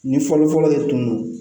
Ni fɔlɔfɔlɔ de tun do